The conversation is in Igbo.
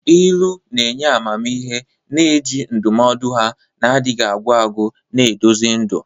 Ilu na-enye amamihe, na-eji ndụmọdụ ha na-adịghị agwụ agwụ na-eduzi ndụ.